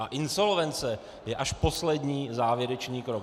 A insolvence je až poslední závěrečný krok.